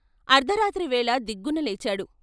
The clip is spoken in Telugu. అర్థరాత్రి వేళ దిగ్గున లేచాడు.